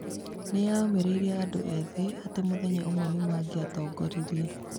Nĩ yũmĩrĩirie andũ ethĩ atĩ mũthenya ũmwe nĩ mangiatongoririe.